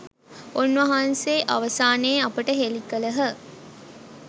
උන්වහන්සේ අවසානයේ අපට හෙළි කළහ.